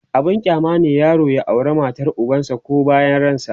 abun kyama ne yaro ya aure matar ubansa koh bayan ransa